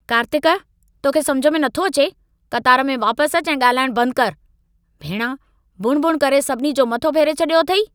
कार्तिक! तोखे समुझ में नथो अचे? क़तार में वापसि अचु ऐं ॻाल्हाइणु बंदि करु। भेणा, बुणबुण करे सभिनी जो मथो फेरे छॾियो अथई।